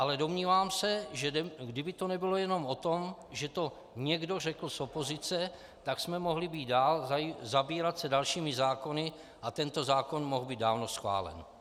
Ale domnívám se, že kdyby to nebylo jenom o tom, že to někdo řekl z opozice, tak jsme mohli být dál, zabývat se dalšími zákony a tento zákon mohl být dávno schválen.